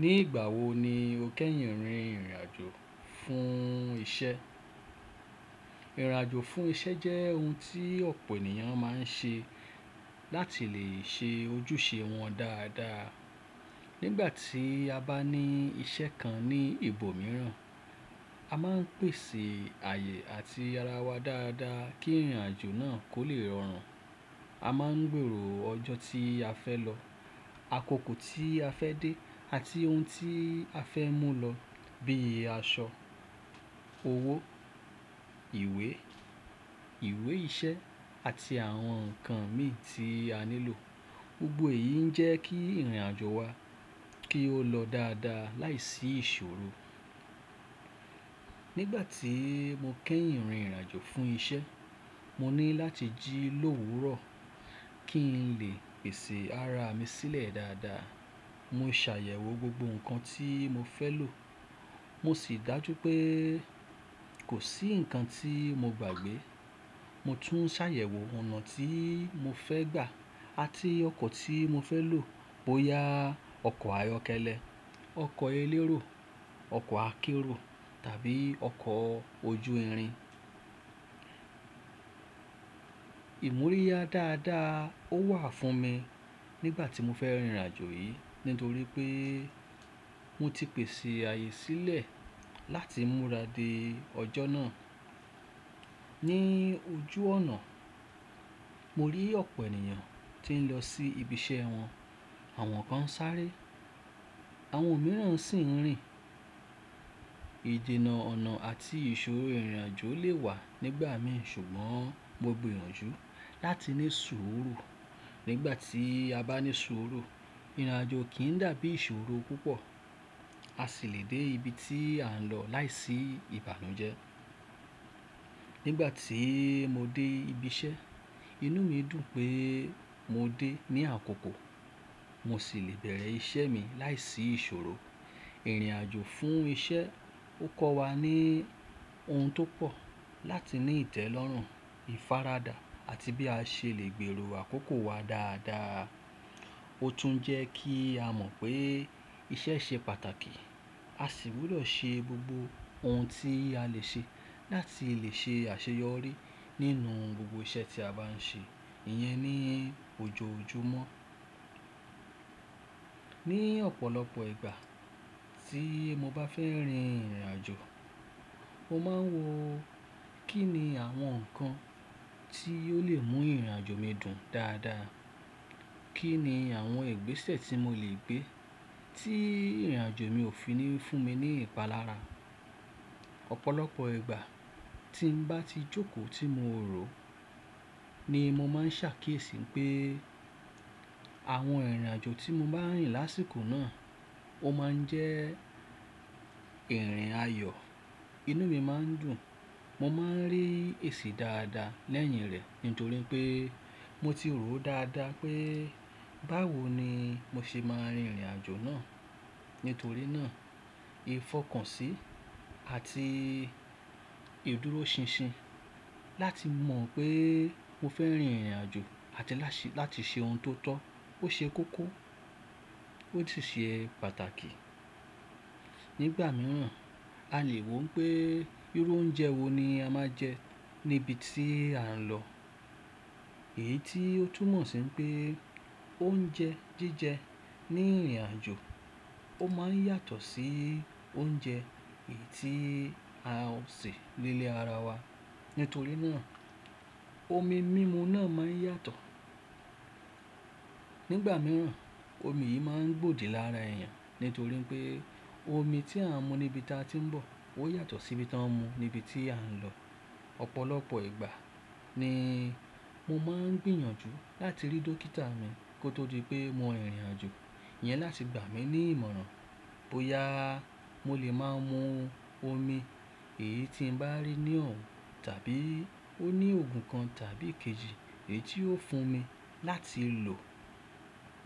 Ní ìgbà wo ni o kẹ́yìn rin ìrìn àjò fún iṣẹ́? Ìrìn àjò fún iṣẹ́ jẹ́ ohun tí ọ̀pọ̀ ènìyàn má a ń ṣe láti lè ṣe ojúṣe wọn dáadáa. Nígbà tí a bá ní iṣẹ́ kan ní ibòmíràn, a máa ń pèsè ààyè àti ara wa dáadáa kí ìrìn àjò náà kó lè rọrùn. A máa ń gbèrò ọjọ́ tí a fẹ́ lọ, àkókò tí a fẹ́ dé àti ohun tí a fẹ́ mú lọ bíi aṣọ, owó, ìwé, ìwé iṣẹ́ àti àwọn nǹkan mi tí a nílò. Gbogbo èyí ń jẹ́ kí ìrìn àjò wa kí ó lọ dáadáa láìsí ìṣòro. Nígbà tí mo kẹ́yìn rin ìrìn àjò fún iṣẹ́, mo ní láti jí lówurọ̀ kí n lè pèsè ara mi sílẹ̀ dáadáa. Mo ṣàyẹ̀wò gbogbo nǹkan tí mo fẹ́ lò. Mo sì dájú pé kò sí nǹkan tí mo gbàgbé. Mo tún ṣàyẹ̀wò ọ̀nà tí mo fẹ́ gbà àti ọkọ̀ tí mo fẹ́ lò bóyá ọkọ̀ ayọ́kẹ́lẹ́, ọkọ̀ elérò, ọkọ̀ akérò tàbí ọkọ̀ ojú irin. Ìmúríyá dáadáa ó wà fún mi nígbà tí mo fẹ́ rin ìrìn àjò yìí nítorí pé mo ti pèsè ààyè sílẹ̀ láti múra dé ọjọ́ náà. Ni ojú ọ̀nà mo rí ọ̀pọ̀ ènìyàn tí ń lọ sí ibi iṣẹ́ wọn, àwọn kan ń sáré, àwọn mìíràn sì ń rìn. Ìjìnnà ọ̀nà àti ìṣòro ìrìn àjò lè wà nígbà mìí ṣùgbọ́n mo gbinyanjú láti ní sùúrù. Nígbà tí a bá ní sùúrù, ìrìn àjò kì í dàbí ìṣòro púpọ̀. A sì lè dé ibi tí à ń lọ láìsí ìbànújẹ́. Nígbà tí mo dé ibi iṣẹ́, inú mi dùn pé mo dé ní àkókò. Mo sì lè bẹ̀rẹ̀ iṣẹ́ mi láìsí ìṣòro. Ìrìn àjò fún iṣẹ́ ó kọ́ wa ní ohun tó pọ̀ láti ní ìtẹ́lọ́rùn, ìfaradà àti bí a ṣe lè gbèrò àkókò wa dáadáa. Ó tún jẹ́ kí a mọ̀ pé iṣẹ́ ṣe pàtàkì. A sì wúlò ṣe gbogbo ohun tí a lè ṣe láti lè ṣe àṣeyọrí nínú gbogbo iṣẹ́ tí a bá ń ṣe. Ìyẹn ni ojoojumọ́. Ní ọ̀pọ̀lọpọ̀ ìgbà tí mo bá fẹ́ rin ìrìn àjò, mo máa ń wò kí ni àwọn nǹkan tí ó lè mú ìrìn àjò mi dùn dáadáa. Kí ni àwọn ìgbésẹ̀ tí mo lè gbé tí ìrìn àjò mi ò fi ní fún mi ní ìpalára. Ọ̀pọ̀lọpọ̀ ìgbà tí ń bá ti jókòó tí mo rò ni mo máa ń ṣàkíyèsí pé àwọn ìrìn àjò tí mo bá rìn lásìkò náà ó máa ń jẹ́ ìrìn ayọ̀. Inú mi máa ń dùn. Mo máa ń rí èṣì dáadáa lẹ́yìn rẹ̀ nítorí pé mo ti rò ó dáadáa pé báwo ni mo ṣe máa rin ìrìn àjò náà. Nítorí náà ìfọkànsí àti ìdúróṣinṣin láti mọ̀ pé mo fẹ́ rin ìrìn àjò àti láti ṣe ohun tó tọ́ ó ṣe kókó ó sì ṣe pàtàkì. Nígbà mìíràn a lè wò pé irú oúnjẹ wo ni a máa jẹ níbi tí à ń lọ. Èyí tí ó tún mọ̀ sí pé oúnjẹ jíjẹ ní ìrìn àjò ó máa ń yàtọ̀ sí oúnjẹ èyí tí a ò sè nílé ara wa. Nítorí náà omi mímu náà máa ń yàtọ̀. Nígbà mìíràn omi yìí máa ń gbòdì lára èèyàn nítorí pé omi tí à ń mu níbi tí a ti ń bọ̀ ó yàtọ̀ sí ibi tí wọ́n ń mu níbi tí à ń lọ. Ọ̀pọ̀lọpọ̀ ìgbà ni mo máa ń gbìyànjú láti rí dókítà mi kó tó di pé mo rin ìrìn àjò. Ìyẹn láti gbà mí ní ìmọ̀ràn bóyá mo lè máa mu omi èyí tí ń bá rí ní ọ̀wun tàbí ó ní òògùn kan tàbí èkejì èyí tí ó fún mi láti lò.